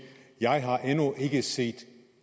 jeg endnu ikke har set